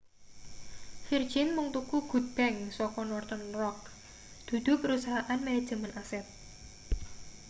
virgin mung tuku good bank' saka northern rock dudu perusahaan manajemen aset